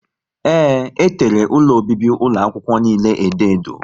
Ee, e tere ụlọ obibi ụlọ akwụkwọ niile edo edo